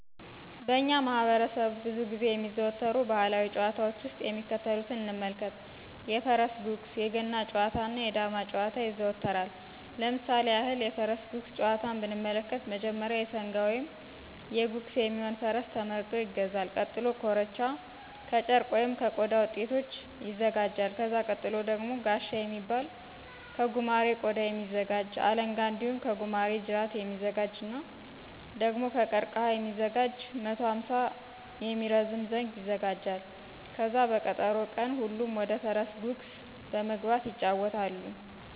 በእኛ ማህበረሠብ ብዙ ጊዜ የሚዘዎተሩ ባህላዊ ጨዋታዎች ውስጥ የሚከተሉትን እንመልከት:-የፈረስ ጉግስ~ የገና ጨዋታ እና ~ የዳማ ጨዋታዎች ይዘወተራል። ለምሳሌ ያክል:- የፈረስ ጉግስ ጨዋታን ብንመለከት መጀመሪያ የሠንጋ ወይም የጉግስ የሚሆን ፈረስ ተመርጦ ይገዛል። ቀጥሎ ኮርቻ ከጨርቅ ወይም ከቆዳ ውጤቶች ይወጋጃል። ከዛ ቀጥሎ ደግሞ ጋሻ የሚባል ከጉማሬ ቆዳ የሚዘጋጅ, አለንጋ እንዲሁም ከጉማሬ ጅራት የሚዘጋጅ እና ደግሞ ከቀርቀህ የሚዘጋጅ 150 የሚረዝም ዘንግ ይዘጋጃል። ከዛ በቀጠሮ ቀን ሁሉም ወደፈረስ ጉግስ በመግባት ይጫወታሉ።